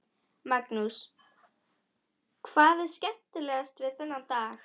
Magnús: Hvað er skemmtilegast við þennan dag?